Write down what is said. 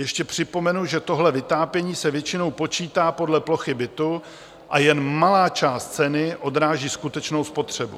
Ještě připomenu, že tohle vytápění se většinou počítá podle plochy bytu a jen malá část ceny odráží skutečnou spotřebu.